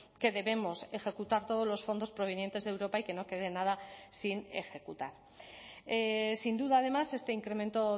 que debemos ejecutar todos los fondos provenientes de europa y que no quede nada sin ejecutar sin duda además este incremento